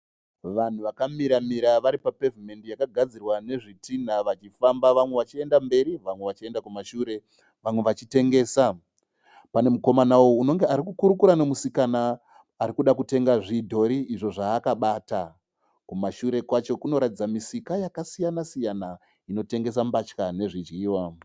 Vanhu vakamiramira vari papevhimendi yakagadzirwa nezvitinha vachifamba. Vamwe vachienda mberi. Vamwe vachienda kumashure. Vamwe vachitengesa. Pane mukomawo unonge ari kukurukura nemusikana arikuda kutenga zvidhori izvo zvaakabata. Kumashure kwacho kunoratidza misika yakasiyana siyana inotengesa mbatya nezvidyiwa.